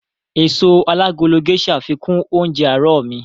Èso alágolo Gésà fikún oúnjẹ àárọ̀ mi